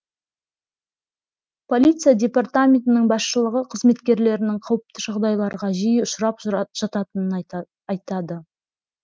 полиция департаментінің басшылығы қызметкерлерінің қауіпті жағдайларға жиі ұшырап жататынын айтады